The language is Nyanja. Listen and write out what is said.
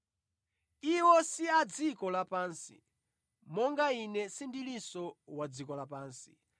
Iwo si a dziko lapansi, monga Ine sindilinso wa dziko lapansi.